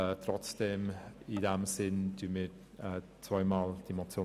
Trotzdem unterstützen wir die Motionen in diesem Sinn.